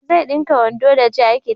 Zai dinka wando da jakit